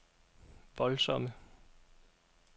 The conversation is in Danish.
voldsomme